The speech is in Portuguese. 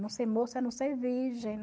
Não ser moça é não ser virgem.